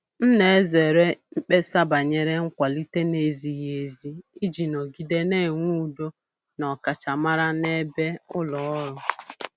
M na-ezere mkpesa banyere nkwalite na-ezighị ezi iji nọgide na-enwe udo na ọkachamara na-ebe ulo ọrụ.